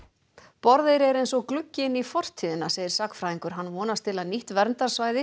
Borðeyri er eins og gluggi inn í fortíðina segir sagnfræðingur hann vonast til að nýtt verndarsvæði